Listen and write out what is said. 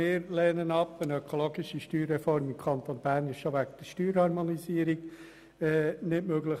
Eine ökologische Steuerreform im Kanton Bern ist schon wegen der Steuerharmonisierung nicht möglich.